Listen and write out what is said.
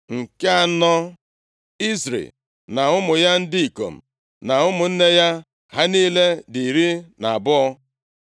Nke anọ, Izri na ụmụ ya ndị ikom na ụmụnne ya. Ha niile dị iri na abụọ (12).